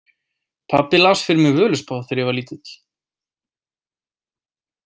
Pabbi las fyrir mig Völuspá þegar ég var lítill.